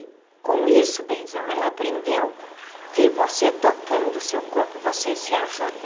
Com isso, benzão, ela aprendeu que você tocando o seu corpo, você se ajuda.